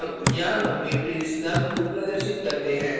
अब यहाँ हम matrix num2 प्रदर्शित करते हैं